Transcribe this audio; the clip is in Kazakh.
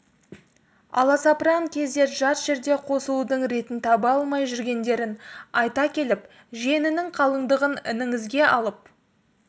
аласапыран кезде жат жерде қосылудың ретін таба алмай жүргендерін айта келіп жиенінің қалыңдығын ініңізге алып